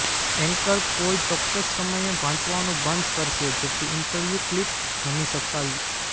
anchor કોઈ ચોક્કસ સમયે વાંચવાનું બંધ કરશે જેથી ઇન્ટરવ્યૂ ક્લિપ રમી શકાય